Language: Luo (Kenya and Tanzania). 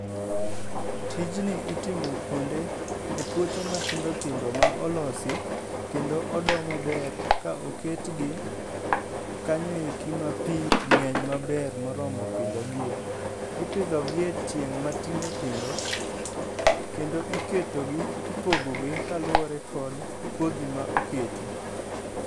Tijni itimo kuonde e puothe matindo tindo ma olosi, kendo odoo maber ka oketgi kanyoeki ma pii ng'eny maber moromo pidho gi e. Ipidho gi e tieng' matindo tindo, kendo iketo gi ipogo gi kaluwore kod kodhi ma oketi.